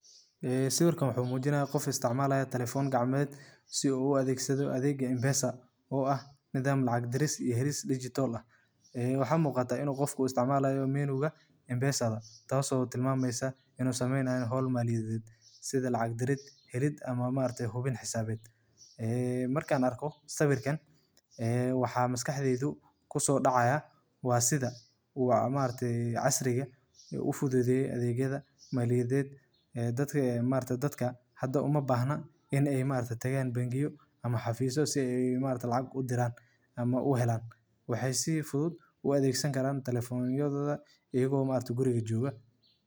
Ka bixista lacagta adigoo adeegsanaya M-Pesa waa hab sahlan oo degdeg ah oo loogu talagalay in dadka isticmaala ay si fudud uga soo saaraan lacagtooda akoonka M-Pesa iyagoo aan booqan bangi ama meelaha kale ee dhaqaalaha lagu shaqeeyo. Marka hore, waxaad u baahan tahay inaad tagto meel ka mid ah goobaha bixinta lacagta ee ku yaal magaaladaada, sida dukaamada, farmashiyeyaasha, ama xarumaha adeegyada M-Pesa ee rasmiga ah.